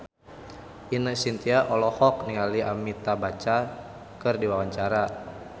Ine Shintya olohok ningali Amitabh Bachchan keur diwawancara